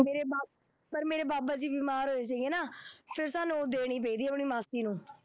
ਮੇਰੇ ਬਾ ਪਰ ਮੇਰੇ ਬਾਬਾ ਜੀ ਬਿਮਾਰ ਹੋਏ ਸੀਗੇ ਨਾ, ਫੇਰ ਸਾਨੂੰ ਉਹ ਦੇਣੀ ਪਈ ਆਪਣੀ ਮਾਸੀ ਨੂੰ,